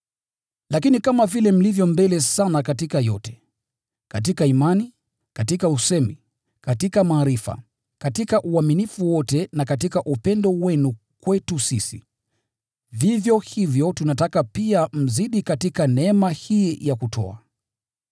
Lakini kama vile mlivyo mbele sana katika yote: Katika imani, katika usemi, katika maarifa, katika uaminifu wote na katika upendo wenu kwetu sisi, vivyo hivyo tunataka pia mzidi katika neema hii ya kutoa.